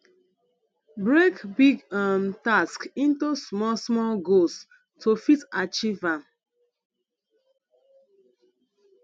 break big um task into small small goals to fit achieve am